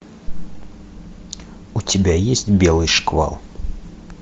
у тебя есть белый шквал